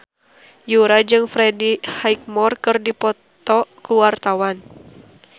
Yura jeung Freddie Highmore keur dipoto ku wartawan